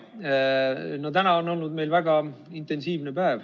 Jaa, no täna on olnud meil väga intensiivne päev.